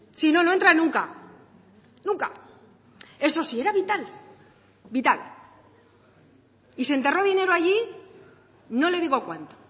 sino no entra nunca nunca eso sí era vital vital y se enterró dinero allí no le digo cuánto